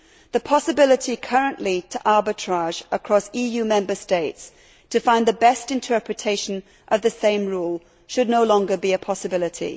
The possibility currently to arbitrage across EU Member States to find the best interpretation of the same rule should no longer be a possibility.